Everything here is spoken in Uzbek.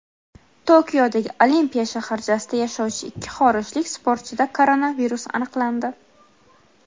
Tokiodagi Olimpiya shaharchasida yashovchi ikki xorijlik sportchida koronavirus aniqlandi.